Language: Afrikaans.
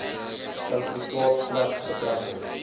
sertifikaat slegs betrekking